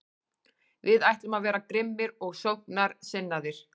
Við ætlum að vera grimmir og sóknarsinnaðir.